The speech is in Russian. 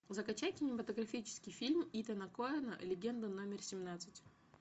закачай кинематографический фильм итана коэна легенда номер семнадцать